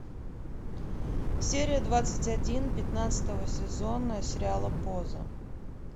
серия двадцать один пятнадцатого сезона сериала поза